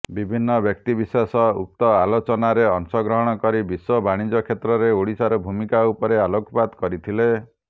ବିଭିନ୍ନ ବ୍ୟକ୍ତିବିଶେଷ ଉକ୍ତ ଆଲୋଚନାରେ ଅଂଶଗ୍ରହଣ କରି ବିଶ୍ୱ ବାଣିଜ୍ୟ କ୍ଷେତ୍ରରେ ଓଡ଼ିଶାର ଭୂମିକା ଉପରେ ଆଲୋକପାତ କରିଥିଲେ